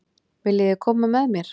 Viljiði koma með mér?